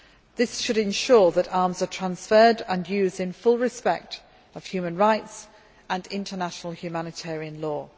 This should ensure that arms are transferred and used in full respect of human rights and international humanitarian law.